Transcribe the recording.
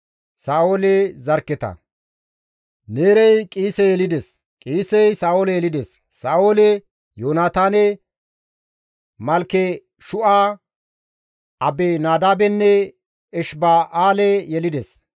Neerey Qiise yelides; Qiisey Sa7oole yelides; Sa7ooli Yoonataane, Malkeshu7a, Abinadaabenne Eshiba7aale yelides.